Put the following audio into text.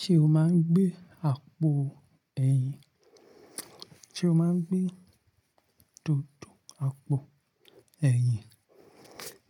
Ṣé o máa ń gbé àpò ẹ̀yìn? Sé o máa ń gbé tótù àpò ẹ̀yìn?